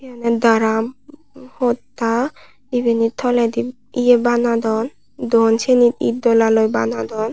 yan daram podda ibani toledi ye banadon don siyeni id dolaloi banadon.